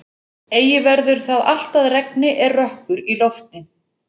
Eigi verður það allt að regni er rökkur í lofti.